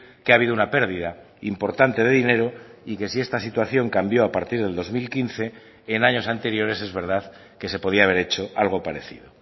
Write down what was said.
que ha habido una pérdida importante de dinero y que si esta situación cambio a partir del dos mil quince en años anteriores es verdad que se podía haber hecho algo parecido